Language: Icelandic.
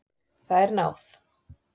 Það er náð.